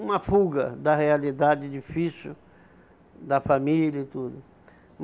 Uma fuga da realidade difícil, da família e tudo.